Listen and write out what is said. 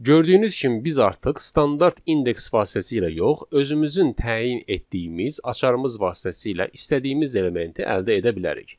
Gördüyünüz kimi biz artıq standart indeks vasitəsilə yox, özümüzün təyin etdiyimiz açarımız vasitəsilə istədiyimiz elementi əldə edə bilərik.